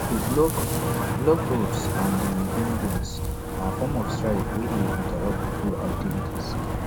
to block block roads ande buildings na form of strike wey de interupt pipos activities